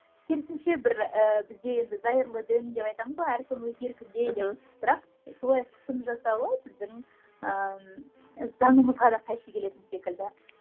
керісінше бір ііі бізде енді зайырлы дін деп айтамыз ғой әркім өз еркінде деп мхм бірақ солай қысым жасауы біздің ііі заңымызға да қайшы келетін секілді